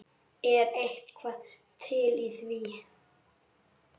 Er eitthvað til í því?